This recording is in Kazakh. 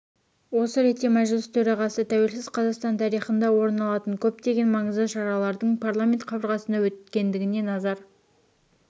осы ретте мәжіліс төрағасы тәуелсіз қазақстан тарихында орын алатын көптеген маңызды шаралардың парламент қабырғасында өткендігіне назар